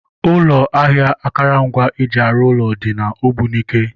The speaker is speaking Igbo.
Ụlọ ahịa akụrụngwa eji arụ ụlọ dị n'Ogbunike